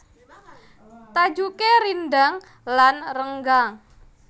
Tajuké rindhang lan renggang